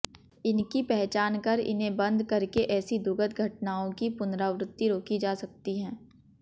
इनकी पहचान कर इन्हें बंद करके ऐसी दुखद घटनाओं की पुनरावृत्ति रोकी जा सकती है